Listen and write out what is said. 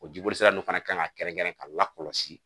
O jiboli sira ninnu fana kan ka kɛrɛnkɛrɛn k'a lakɔlɔsi.